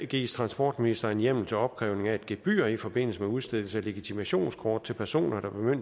gives transportministeren hjemmel til opkrævning af et gebyr i forbindelse med udstedelse af legitimationskort til personer der